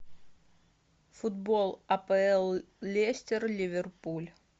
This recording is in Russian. футбол апл лестер ливерпуль